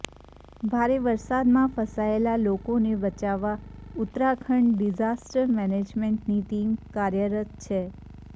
ભારે વરસાદમાં ફસાયેલાં લોકોને બચાવવા ઉત્તરાખંડ ડિઝાસ્ટર મેનેજમેન્ટની ટીમ કાર્યરત છે